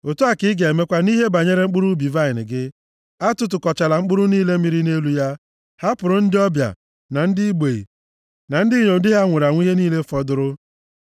Otu a ka ị ga-emekwa nʼihe banyere mkpụrụ ubi vaịnị gị. Atụtụkọchala mkpụrụ niile mịrị nʼelu ya. Hapụrụ ndị ọbịa, na ndị mgbei, na ndị inyom di ha nwụrụ ihe niile fọdụrụ.